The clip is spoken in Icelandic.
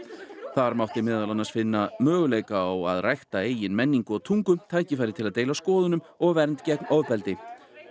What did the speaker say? þar mátti meðal annars finna möguleika á að rækta eigin menningu og tungu tækifæri til að deila skoðunum og vernd gegn ofbeldi